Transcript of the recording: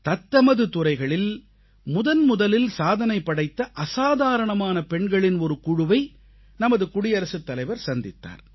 தத்தமது துறைகளில் முதன்முதலில் சாதனை படைத்த அசாதாரணமான பெண்களின் ஒரு குழுவை நமது குடியரசுத்தலைவர் சந்தித்தார்